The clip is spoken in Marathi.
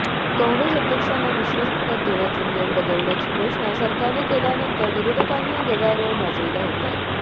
काँगेस अध्यक्षांना विश्वस्तपद देण्याचा नियम बदलण्याची घोषणा सरकारने केल्यानंतर विरोधकांनी गदारोळ माजविला होता